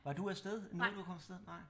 Var du afsted nåede du at komme afsted?